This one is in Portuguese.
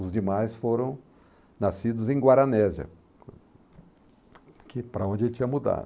Os demais foram nascidos em Guaranésia, que para onde ele tinha mudado.